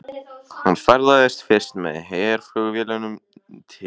Hann ferðaðist fyrst með herflugvélum til